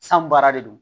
San baara de do